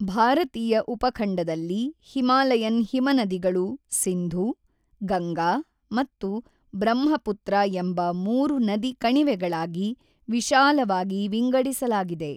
ಭಾರತೀಯ ಉಪಖಂಡದಲ್ಲಿ ಹಿಮಾಲಯನ್ ಹಿಮನದಿಗಳನ್ನು ಸಿಂಧೂ, ಗಂಗಾ ಮತ್ತು ಬ್ರಹ್ಮಪುತ್ರ ಎಂಬ ಮೂರು ನದಿ ಕಣಿವೆಗಳಾಗಿ ವಿಶಾಲವಾಗಿ ವಿಂಗಡಿಸಲಾಗಿದೆ.